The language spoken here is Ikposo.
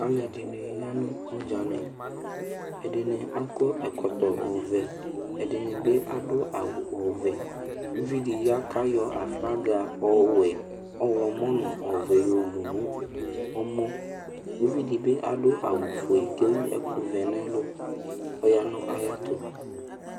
Aluɛdini ya nu ɔdzani ɛdini akɔ ɛkɔtɔ ɔvɛ ɛdinibi adu awu ɔvɛ uvidi ya kayɔ aflaga ɔwɛ ɔɣlomɔ nu ɔvɛ yɔwu nɔmɔ uvidi bi adu awu fue ku ewu ɛku vɛ nu ɛlu kɔ ya nu ayɛtu